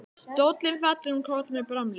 Stóllinn fellur um koll með bramli.